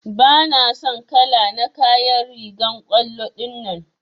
Bana son kala na kayan rigan kwallo dinnan.